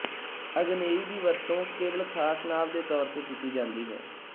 ਅਗਨੇਈ ਦੀ ਵਰਤੋਂ ਕੇਵਲ ਖਾਸ ਨਾਂਵ ਦੇ ਤੌਰ ਤੇ ਕੀਤੀ ਜਾਂਦੀ ਹੈ